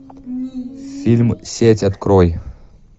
фильм сеть открой